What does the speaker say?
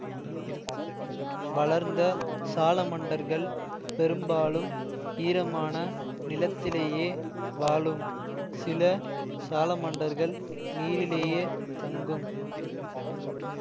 வளர்ந்த சாலமண்டர்கள் பெரும்பாலும் ஈரமான நிலத்திலேயே வாழும் சில சாலமண்டர்கள் நீரிலேயே தங்கும்